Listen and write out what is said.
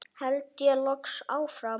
held ég loks áfram.